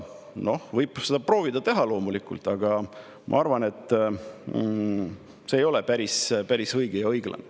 Võib loomulikult proovida seda teha, aga ma arvan, et see ei ole päris õige ja õiglane.